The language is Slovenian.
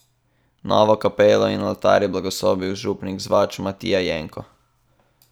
Novo kapelo in oltar je blagoslovil župnik z Vač Matija Jenko.